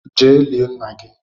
je lie nna gi!